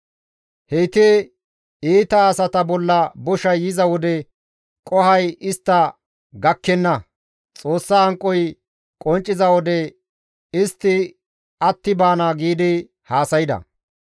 Heyti, ‹Iita asata bolla boshay yiza wode qohoy istta gakkenna; Xoossa hanqoy qoncciza wode istti atti baana› giidi haasayda.